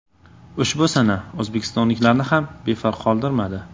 Ushbu sana o‘zbekistonliklarni ham befarq qoldirmadi.